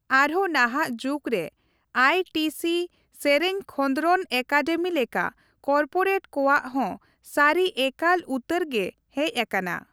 ᱟᱨᱦᱚᱸ ᱱᱟᱦᱟᱜ ᱡᱩᱜᱽ ᱨᱮ, ᱟᱭᱹᱴᱤᱹᱥᱤ ᱥᱮᱨᱮᱧ ᱠᱷᱚᱫᱽᱨᱚᱱ ᱮᱠᱟᱰᱮᱢᱤ ᱞᱮᱠᱟ ᱠᱚᱨᱯᱳᱨᱮᱴ ᱠᱚᱣᱟᱜ ᱦᱮᱸ ᱥᱟᱹᱨᱤ ᱮᱠᱟᱞ ᱩᱛᱟᱹᱨ ᱜᱮ ᱦᱮᱡ ᱟᱠᱟᱱᱟ ᱾